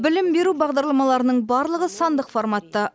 білім беру бағдарламаларының барлығы сандық форматта